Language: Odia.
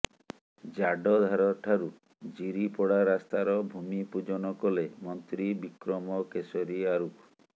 ଜାଡଧାର ଠାରୁ ଜିରିପଡା ରାସ୍ତାର ଭୂମି ପୂଜନ କଲେ ମନ୍ତ୍ରୀ ବିକ୍ରମ କେଶରୀ ଆରୁଖ